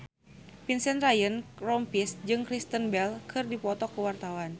Vincent Ryan Rompies jeung Kristen Bell keur dipoto ku wartawan